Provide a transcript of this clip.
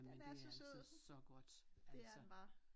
Den er så sød det er den bare